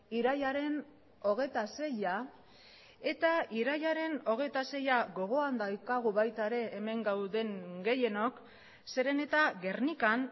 irailaren hogeita seia eta irailaren hogeita seia gogoan daukagu baita ere hemen gauden gehienok zeren eta gernikan